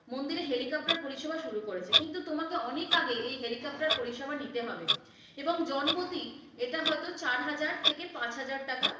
মন্দিরে helicopter পরিষেবা শুরু করেছে, কিন্তু তোমাকে অনেক আগে এ helicopter পরিষেবা নিতে হবে, এবং জনপতি এটা হয়তো চারহাজার থেক পাঁচহাজার টাকা।